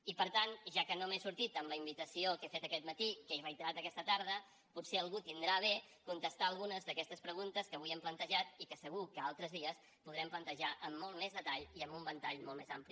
i per tant ja que no me n’he sortit amb la invitació que he fet aquest matí que he reiterat aquesta tarda potser algú tindrà a bé contestar a algunes d’aquestes preguntes que avui hem plantejat i que segur que altres dies podrem plantejar amb molt més detall i amb un ventall molt més ampli